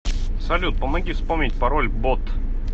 салют помоги вспомнить пороль бот